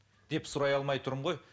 деп сұрай алмай тұрмын ғой